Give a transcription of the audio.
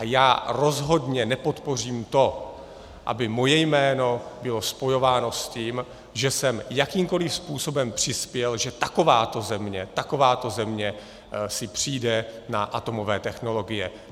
A já rozhodně nepodpořím to, aby moje jméno bylo spojováno s tím, že jsem jakýmkoliv způsobem přispěl, že takováto země , takováto země si přijde na atomové technologie.